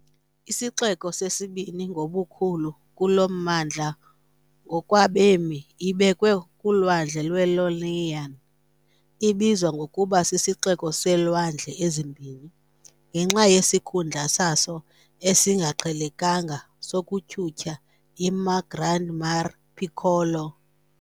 Isixeko sesibini ngobukhulu kulo mmandla ngokwabemi, ibekwe kuLwandle lwe-Ionian , ibizwa ngokuba "sisiXeko seeLwandle eziMbini" , ngenxa yesikhundla saso esingaqhelekanga sokutyhutyha iMar Grande neMar Piccolo.